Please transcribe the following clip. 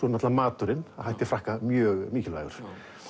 náttúrulega maturinn að hætti Frakka mjög mikilvægur